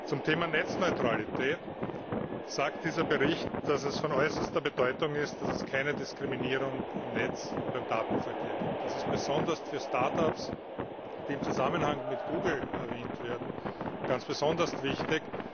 Zum Thema Netzneutralität sagt dieser Bericht, dass es von äußerster Bedeutung ist, dass es keine Diskriminierung im Netz und beim Datenverkehr gibt. Das ist besonders für Start ups, die im Zusammenhang mit Google erwähnt werden, wichtig.